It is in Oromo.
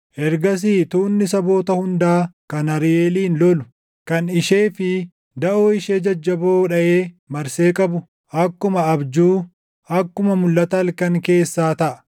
Ergasii tuunni saboota hundaa kan Ariiʼeeliin lolu, kan ishee fi daʼoo ishee jajjaboo dhaʼee marsee qabu, akkuma abjuu, akkuma mulʼata halkan keessaa taʼa;